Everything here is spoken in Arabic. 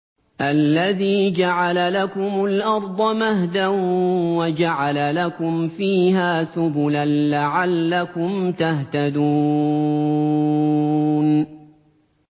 الَّذِي جَعَلَ لَكُمُ الْأَرْضَ مَهْدًا وَجَعَلَ لَكُمْ فِيهَا سُبُلًا لَّعَلَّكُمْ تَهْتَدُونَ